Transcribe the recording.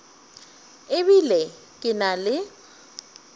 e bile ke na le